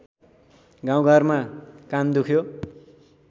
गाउँघरमा कान दुख्यो